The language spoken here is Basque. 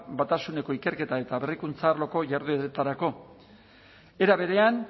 batasuneko ikerketa eta berrikuntza arloko jardueretarako era berean